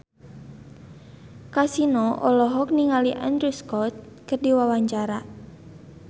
Kasino olohok ningali Andrew Scott keur diwawancara